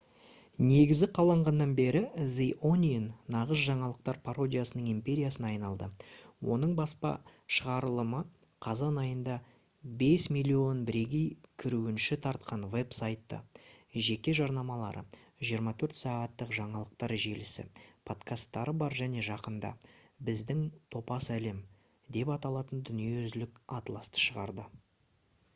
негізі қаланғаннан бері the onion нағыз жаңалықтар пародиясының империясына айналды. оның баспа шығарылымы қазан айында 5 000 000 бірегей кірушіні тартқан веб-сайты жеке жарнамалары 24 сағаттық жаңалықтар желісі подкасттары бар және жақында «біздің топас әлем» деп аталатын дүниежүзілік атласты шығарды